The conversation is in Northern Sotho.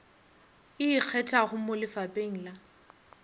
e ikgethago mo lefapheng la